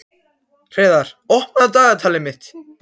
Hreiðar, opnaðu dagatalið mitt.